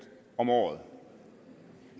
om året